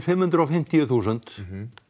fimm hundruð og fimmtíu þúsund